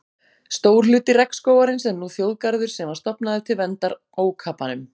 Stór hluti regnskógarins er nú þjóðgarður sem var stofnaður til verndar ókapanum.